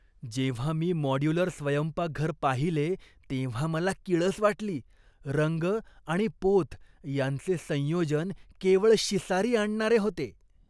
जेव्हा मी मॉड्यूलर स्वयंपाकघर पाहिले तेव्हा मला किळस वाटली. रंग आणि पोत यांचे संयोजन केवळ शिसारी आणणारे होते.